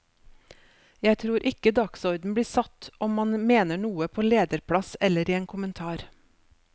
Jeg tror ikke dagsorden blir satt om man mener noe på lederplass eller i en kommentar.